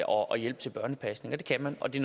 og hjælp til børnepasningen det kan man og det